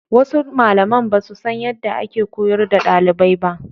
Wasu Malaman basu san yadda ake koyar da ɗalibai ba.